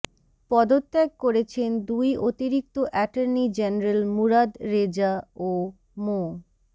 পদত্যাগ করেছেন দুই অতিরিক্ত অ্যাটর্নি জেনারেল মুরাদ রেজা ও মো